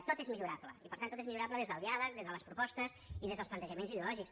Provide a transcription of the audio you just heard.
tot és millorable i per tant tot és millorable des del diàleg des de les propostes i des dels plantejaments ideològics